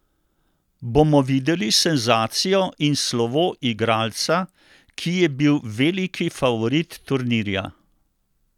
Bomo videli senzacijo in slovo igralca, ki je bil veliki favorit turnirja?